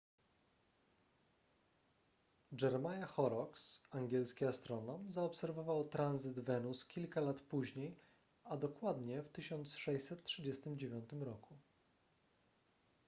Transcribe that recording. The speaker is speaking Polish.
jeremiah horrocks angielski astronom zaobserwował tranzyt wenus kilka lat później a dokładnie w 1639 roku